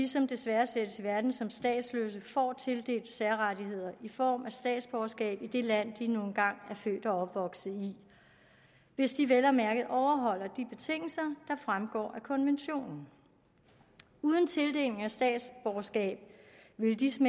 som desværre sættes i verden som statsløse får tildelt særrettigheder i form af statsborgerskab i det land de nu engang er født og opvokset i hvis de vel at mærke overholder de betingelser der fremgår af konventionen uden tildeling af statsborgerskab ville disse